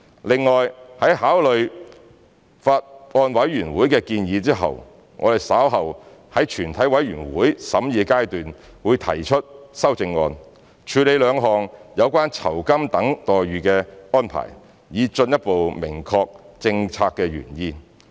另外，在考慮了法案委員會的建議後，我們稍後在全體委員會審議階段會提出修正案，處理兩項有關酬金等待遇的安排，以進一步明確政策原意。